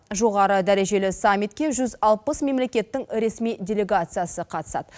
жоғары дәрежелі саммитке жүз алпыс мемлекеттің ресми делегациясы қатысады